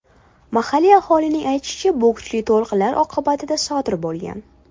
Mahalliy aholining aytishicha, bu kuchli to‘lqinlar oqibatida sodir bo‘lgan.